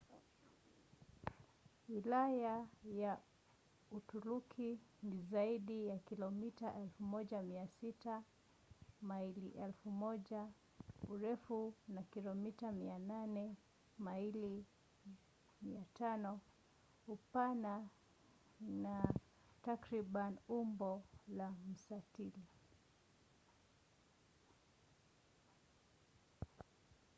wilaya ya uturuki ni zaidi ya kilomita 1,600 maili 1,000 urefu na kilomita 800 maili 500 upana na takriban umbo la mstatili